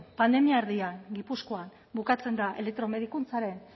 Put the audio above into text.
pandemia erdian gipuzkoan bukatzen da elektromedikuntzaren